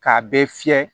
K'a bɛɛ fiyɛ